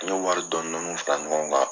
N ɲo wari dɔɔn dɔɔniw fara ɲɔgɔn kan.